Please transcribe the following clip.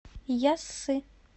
яссы